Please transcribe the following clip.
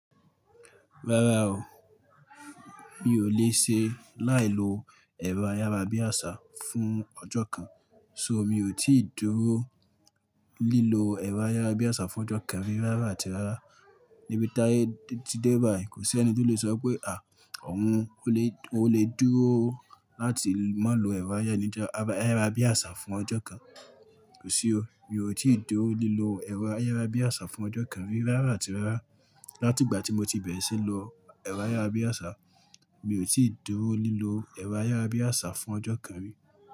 Rárá o, mi ò lè ṣe láì lo ẹ̀rọ ayárabíàṣá fún ọjọ́ kan, ṣo mi ò tíì dúró lílo ẹ̀rọ ayárabíàṣá fún ọjọ́ kan rí rárá àti rárá. Nibi táyé ti dé báì, kò sí ẹni tó lè sọ pé à, òun ó lè, ó lè dúró láti má lo ẹ̀rọ ayára níjọ́, a ba ẹ̀rọ ayárabíàṣá fún ọjọ́ kan, kò sí o. Mi ò tíì dúró lílo ẹ̀rọ ayárabíàṣá fún ọjọ́ kan rírárá àti rárá. Láti ìgbà tí mo ti bẹ̀rẹ̀ síí lo ẹ̀rọ ayárabíàṣá, mi ò tíì dúró lílo ẹ̀rọ ayárabíàṣá fún ọjọ́ kan rí.